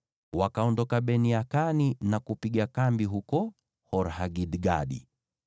Wakaondoka Bene-Yakani na kupiga kambi huko Hor-Hagidgadi.